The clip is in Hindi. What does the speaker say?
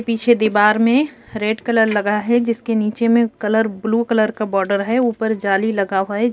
पीछे दीवार में रेड कलर लगा है। जिसके नीचे में कलर ब्लू कलर का बॉर्डर है। ऊपर जाली लगा हुआ है।